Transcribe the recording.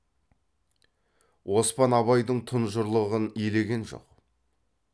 оспан абайдың тұнжырлығын елеген жоқ